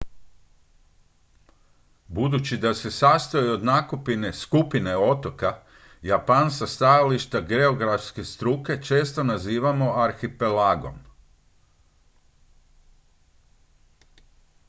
"budući da se sastoji od nakupine skupine otoka japan sa stajališta geografske struke često nazivamo "arhipelagom"".